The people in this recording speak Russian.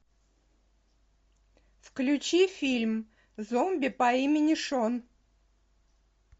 включи фильм зомби по имени шон